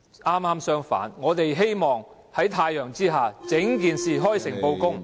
剛好相反，我們希望在太陽下，將整件事開誠布公。